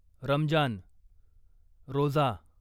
Ramzan, Roza